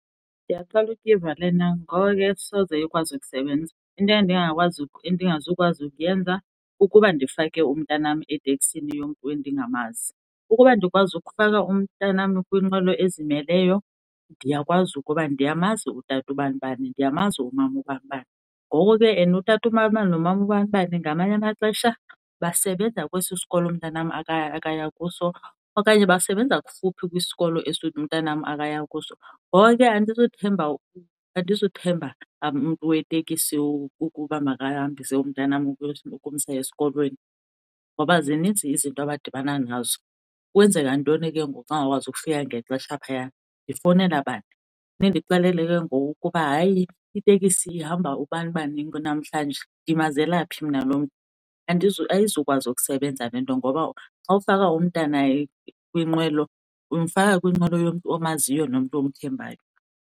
Ndiyaqala uyiva lena, ngoko ke asoze ikwazi ukusebenza. Into endingazukwazi ukuyenza ukuba ndifake umntanam eteksini yomntu endingamazi, ukuba ndikwazi ukufaka umntanam kwinqwelo ezimeleyo ndiyakwazi ukuba ndiyamazi utata ubanibani, ndiyamazi umama ubanibani. Ngoko ke and utata ubanibani nomama ubanibani ngamanye amaxesha basebenza kwesi sikolo mntanam akaya kuso, okanye basebenza kufuphi kwisikolo esi umntanam akaya kuso. Ngoko ke andizuthemba umntu wetekisi ukuba makahambise umntanam ukumsa esikolweni, ngoba zininzi izinto abadibana nazo. Kwenzeka ntoni ke ngoku xa engakwazi ukufika ngexesha phayana, ndifowunela bani, nindixelele ke ngoku ukuba hayi itekisi ihamba ubanibani ke namhlanje. Ndimazela phi mna lo mntu? Ayizukwazi ukusebenza le nto ngoba xa ufaka umntana kwinqwelo umfaka kwinqwelo yomntu omaziyo nomntu omthembayo nge.